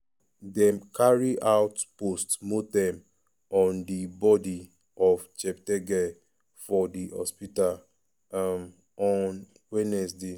dem carry out post-mortem on di bodi of cheptegei for di hospital um on wednesday.